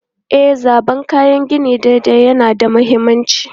E, zabar kayan gini daidai yana da mahimmanci.